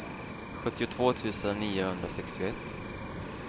sjuttiotvå tusen niohundrasextioett